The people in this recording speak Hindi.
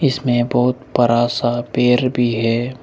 इसमें बहुत बड़ा सा पेड़ भी है।